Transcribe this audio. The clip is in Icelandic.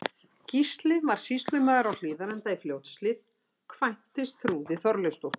Gísli varð sýslumaður á Hlíðarenda í Fljótshlíð, kvæntist Þrúði Þorleifsdóttur.